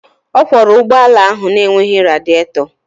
Ọ kwọra ụgbọ ala ahụ na-enweghị radịètọ